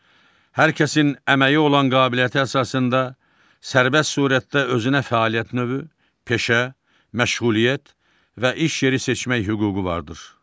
Hər kəsin əməyi olan qabiliyyəti əsasında sərbəst surətdə özünə fəaliyyət növü, peşə, məşğuliyyət və iş yeri seçmək hüququ vardır.